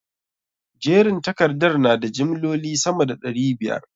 Jerin takardar na da jimloli sama da ɗari biyar?